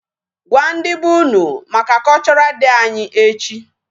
Gwa ndị be unu maka Cultural Day anyị echi.